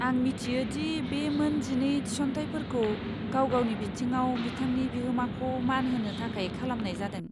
आं मिथियो दि बे मोन जिनै थिसनथाइफोरखौ गावगावनि बिथिङाव बिथांनि बिहोमाखौ मान होनो थाखाय खालामनाय जादों।